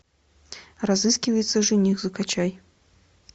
разыскивается жених закачай